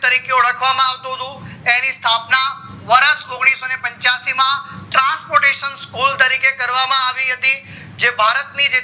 તરીકે ઓળખવામાં આવતું હતું એની સ્થાપના વર્ષ ઓગણીસો ને પંચ્યાશી માં transportation hall તરીકે કરવામાં આવી હતી જે ભારત ની જે